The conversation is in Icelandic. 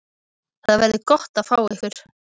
Það verður gott að fá ykkur.